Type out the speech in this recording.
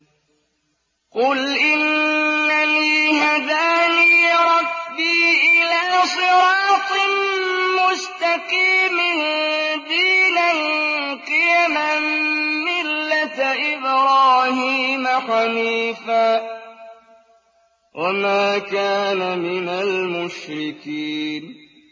قُلْ إِنَّنِي هَدَانِي رَبِّي إِلَىٰ صِرَاطٍ مُّسْتَقِيمٍ دِينًا قِيَمًا مِّلَّةَ إِبْرَاهِيمَ حَنِيفًا ۚ وَمَا كَانَ مِنَ الْمُشْرِكِينَ